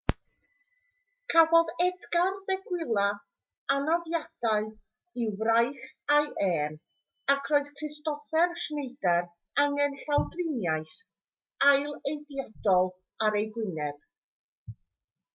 cafodd edgar veguilla anafiadau i'w fraich a'i ên ac roedd kristoffer schneider angen llawdriniaeth ailadeiladol ar ei wyneb